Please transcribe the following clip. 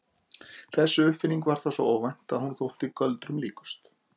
Þessi uppfinning var þá svo óvænt að hún þótti göldrum líkust.